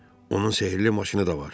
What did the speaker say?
Onun sehrli maşını da var.